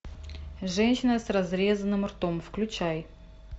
женщина с разрезанным ртом включай